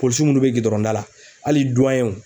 Polisiw munnu bɛ gidɔrɔn da la hali